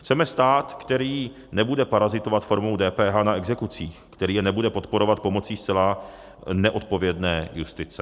Chceme stát, který nebude parazitovat formou DPH na exekucích, který je nebude podporovat pomocí zcela neodpovědné justice.